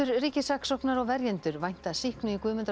ríkissaksóknari og verjendur vænta sýknu í Guðmundar og